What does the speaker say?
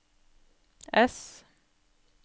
ess